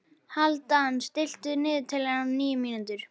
Hálfdan, stilltu niðurteljara á níu mínútur.